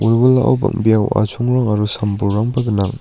wilwilao bang·bea wa·achongrang aro sam bolrangba gnang.